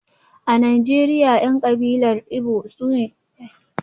A Najeriya, 'yan kabilar Igbo ne ke sayar da kayayyakin motoci